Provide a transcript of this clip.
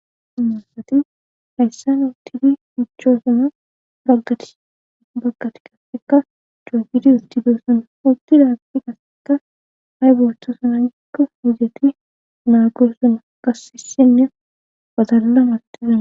issi asati hayssan utidi ichchoosona raggati baggati kasseka cookidi hustidossun urtidaagadi kasseka hay bootto sunanikka hudeti naagoosson gassisinne watallamastidaa